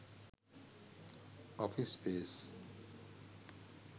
office space